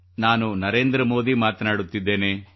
ನಾನು ನರೇಂದ್ರ ಮೋದಿ ಮಾತನಾಡುತ್ತಿದ್ದೇನೆ